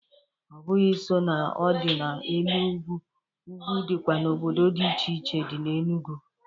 Ọbụghị so na ọ dị na elu ugwu, ugwu dịkwa n'obodo dị iche iche dị n'Enugu.